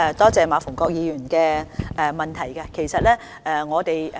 多謝馬逢國議員的補充質詢。